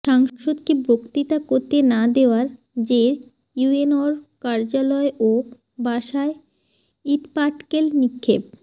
সাংসদকে বক্তৃতা করতে না দেওয়ার জের ইউএনওর কার্যালয় ও বাসায় ইটপাটকেল নিক্ষেপ